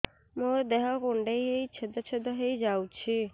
ମୋ ଦେହ କୁଣ୍ଡେଇ ହେଇ ଛେଦ ଛେଦ ହେଇ ଯାଉଛି